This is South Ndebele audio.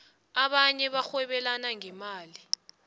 abanye barhwebelana ngemali